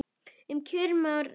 Um kjörin menn ræða.